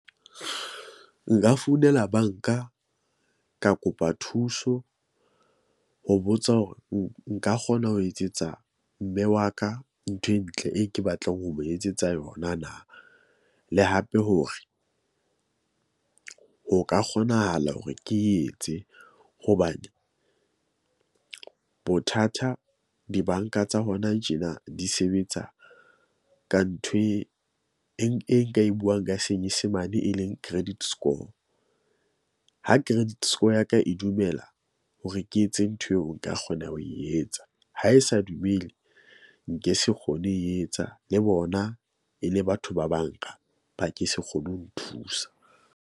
Nka founela bank-a, ka kopa thuso ho botsa hore nka kgona ho etsetsa mme wa ka ntho e ntle e ke batlang ho mo etsetsa yona na. Le hape hore ho ka kgonahala hore ke etse hobane bothata di-bank-a tsa hona tjena di sebetsa ka nthwe e e e nka e buang ka senyesemane e leng credit score. Ha credit score ya ka e dumela hore ke etse ntho eo, nka kgona ho e etsa. Ha e sa dumele, nke se kgone e etsa le bona e le batho ba bank-a, ba ke se kgone ho nthusa.